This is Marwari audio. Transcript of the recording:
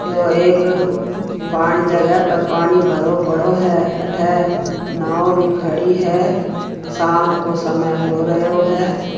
यो एक पानी जगह पे पानी भरो पड़ो हैं अठे नाव भी खड़ी हैं शाम को समय हो रहियो हैं।